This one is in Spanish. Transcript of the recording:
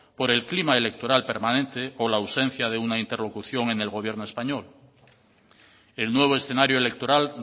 por el clima electoral permanente o la ausencia de una interlocución en el gobierno español el nuevo escenario electoral